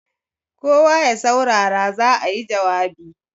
kawo ya saurara za a yi jawabi!